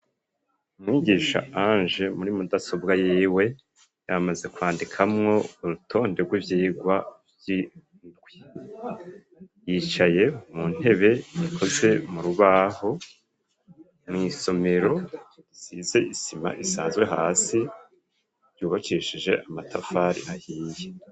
Mwigisha Ange muri mudasobwa yiwe yamaze kwandikamwo urutonde rw'ivyigwa vy’idwi, yicaye mu ntebe ikoze mu rubaho mw'somero isize isima isazwe hasi ryubakishije amatafari ahiye.